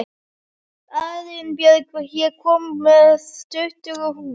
Arinbjörg, ég kom með tuttugu húfur!